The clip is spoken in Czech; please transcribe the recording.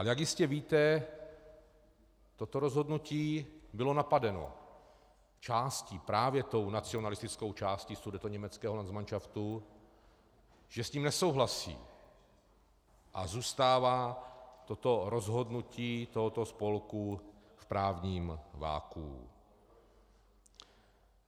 A jak jistě víte, toto rozhodnutí bylo napadeno částí, právě tou nacionalistickou částí sudetoněmeckého landsmanšaftu, že s tím nesouhlasí, a zůstává toto rozhodnutí tohoto spolku v právním vakuu.